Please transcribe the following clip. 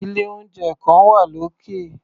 Ilé-oúnjẹ kan wà lókè.